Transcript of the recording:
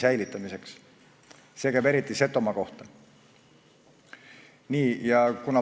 Eriti käib see Setomaa kohta.